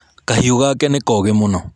Kahiũ gake nĩ kogĩ mũno.